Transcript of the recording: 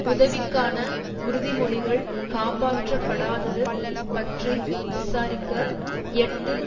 உதவிக்கான உறுதிமொழிகள் காப்பாற்றப்படாதது பற்றி விசாரிக்க எட்டு